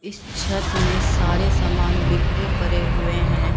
इस छत में सारे समान बिखरे परे हुए हैं।